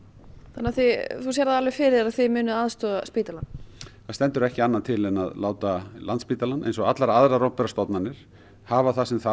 þannig að þú sérð það alveg fyrir þér að þið munuð aðstoða spítalann það stendur ekki annað til en að láta Landspítalann eins og allar aðrar opinberar stofnanir hafa það sem þarf